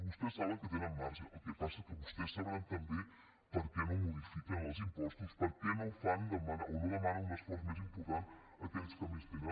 vostès saben que tenen marge el que passa és que vostès deuen saber també per què no modifiquen els impostos per què no fan o no demanen un esforç més important a aquells que més tenen